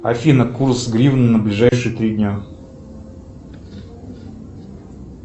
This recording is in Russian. афина курс гривны на ближайшие три дня